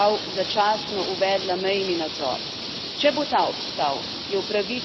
V zadnjih tednih je vrsta evropskih držav začasno uvedla mejni nadzor.